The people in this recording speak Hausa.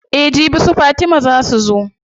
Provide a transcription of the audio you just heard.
Eh jibi su fatima zaa su zo.